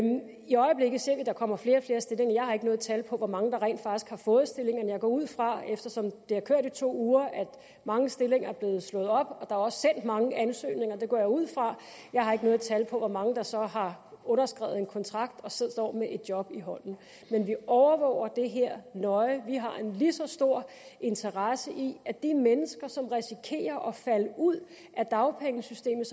der kommer flere og flere stillinger jeg har ikke noget tal på hvor mange der rent faktisk har fået stillinger men jeg går ud fra eftersom det har kørt i to uger at mange stillinger er blevet slået op og at mange ansøgninger det går jeg ud fra jeg har ikke noget tal på hvor mange der så har underskrevet en kontrakt og står står med et job i hånden men vi overvåger det her nøje vi har en lige så stor interesse i at de mennesker som risikerer at falde ud af dagpengesystemet